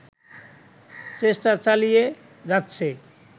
চেষ্টা চালিয়ে যাচ্ছে